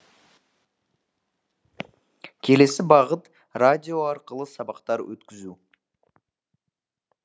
келесі бағыт радио арқылы сабақтар өткізу